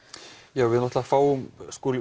já við fáum